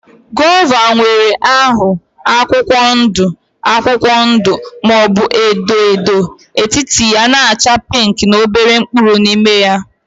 Gova nwere ahụ akwụkwọ ndụ akwụkwọ ndụ maọbu edo edo, etiti ya na -acha pinki na obere mkpụrụ n' ime ya.